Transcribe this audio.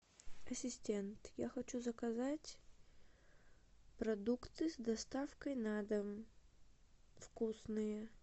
ассистент я хочу заказать продукты с доставкой на дом вкусные